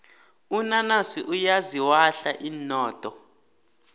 unanasi uyaziwahla inodo